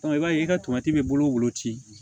i b'a ye ka tomati bɛ bolo ci